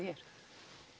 hér